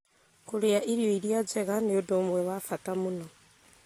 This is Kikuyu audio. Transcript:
Kũrĩa irio iria njega nĩ ũndũ ũmwe wa bata mũno;